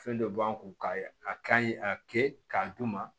Fɛn dɔ b'an kun ka a ka ɲi a kɛ k'a d'u ma